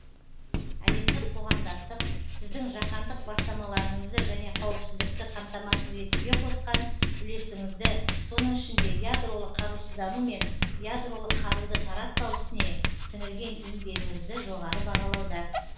әлемдік қоғамдастық сіздің жаһандық бастамаларыңызды және қауіпсіздікті қамтамасыз етуге қосқан үлесіңізді соның ішінде ядролық қарусыздану мен ядролық қаруды таратпау ісіне сіңірген еңбегіңізді жоғары бағалауда